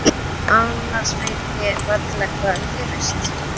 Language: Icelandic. Annars veit ég varla hvað gerist.